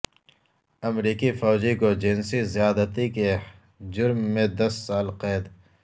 امریکی فوجی کو جنسی زیادتی کے جرم میں دس سال قید